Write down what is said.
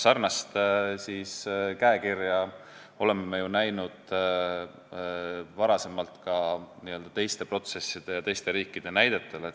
Sarnast käekirja oleme ju näinud varem ka teiste protsesside ja teiste riikide näitel.